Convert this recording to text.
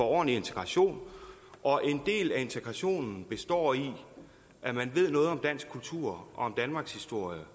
ordentlig integration og en del af integrationen består i at man ved noget om dansk kultur og om danmarks historie